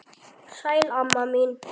Sæl, amma mín.